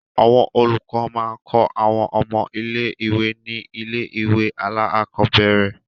Àwọn olùkọ́ máa ń kọ́ àwọn ọmọ ilé-ìwé ní ilé-ìwé alákọ̀ọ́bẹ̀rẹ̀.